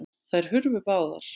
Þær hurfu báðar.